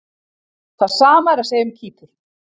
Það sama er að segja um Kýpur.